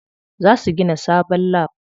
Za su gina sabon lab.